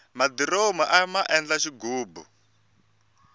madiromu aya endla xighubu